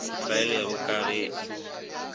se tlwaelege ka ge e